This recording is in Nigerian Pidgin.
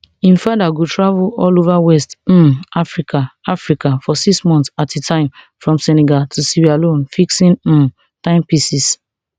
im father go travel all over west um africa africa for six months at a time from senegal to sierra leone fixing um timepieces